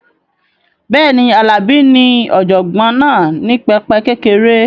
Bẹ́ẹ̀ni, Alabi ní ọ̀jọ̀gbọ́n náà ní pẹpẹ kékeré